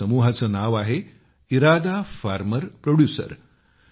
त्या समूहाचे नाव आहे ईरादा फार्मर प्रोड्युसर